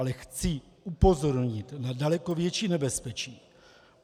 Ale chci upozornit na daleko větší nebezpečí.